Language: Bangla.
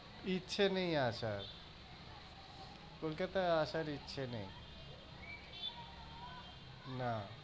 ইচ্ছে নেই আর, কোলকাতায় আর আসার ইচ্ছা নেই। না,